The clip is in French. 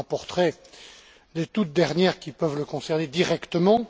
Je lui rapporterai les toutes dernières, qui peuvent le concerner directement.